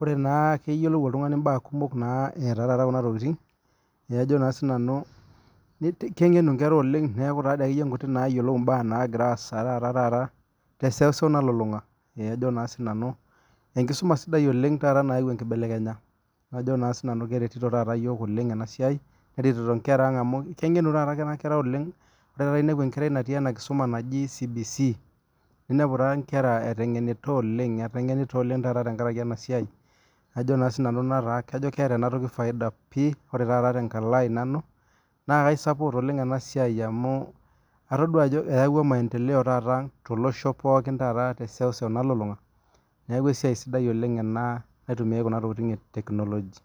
ore naa keyiolou oltung'ani mbaa kumok etaa Kuna tokitin kengenu enkera oleng neeku keyiolo mbaa naagira asaa tee seuseu nalulung'a enkisuma sidai oleng taata nayau enkibelenya keretito taa iyiok oleng neretito enkara oleng amu ore taata pee enepu enkerai natii enkisuma naaji CBC ninepu enkera eiteng'ena oleng etengenita oleng tenkaraki enasiai naa kajo keeta enasiai faida pii ore taata tenkalo ai nanu naa kaisapot ena siai amu atodua Ajo eyawua maendeleo tolosho pookin tee seuseu nalulung'a neeku esiai sidai oleng ena naitumiai Kun tokitin ee tekinoloji